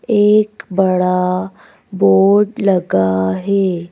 एक बड़ा बोर्ड लगा है।